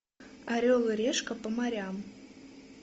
орел и решка по морям